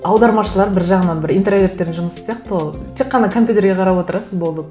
аудармашылар бір жағынан бір интроверттердің жұмысы сияқты тек қана компьютерге қарап отырасыз болды